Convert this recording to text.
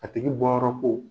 A tigi bɔyɔrɔ ko.